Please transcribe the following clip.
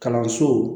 Kalanso